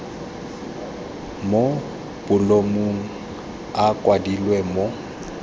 mo bolumong a kwadilwe mo